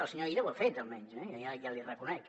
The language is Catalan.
el senyor illa ho ha fet almenys jo ja l’hi reconec